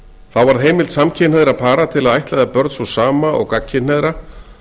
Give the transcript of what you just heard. þá varð heimild samkynhneigðra para til að ættleiða börn sú sama og gagnkynhneigðra